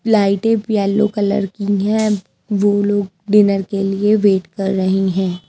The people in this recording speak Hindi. लाइटें येलो कलर की है वो लोग डिनर के लिए वेट कर रही हैं।